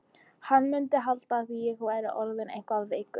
Hann mundi halda að ég væri orðinn eitthvað veikur.